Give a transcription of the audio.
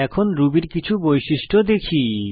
এখন রুবি এর কিছু বৈশিষ্ট্য দেখি